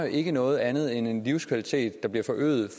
ikke noget andet end en livskvalitet der bliver forøget